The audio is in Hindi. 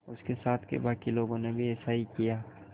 उसके साथ के बाकी लोगों ने भी ऐसा ही किया